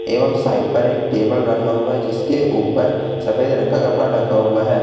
एवं साइड पर एक टेबल रखा हुआ है जिसके ऊपर सफेद रंग का कपड़ा ढका हुआ है।